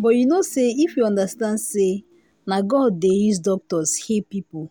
but you know sayif we understand say na god dey use doctors heal people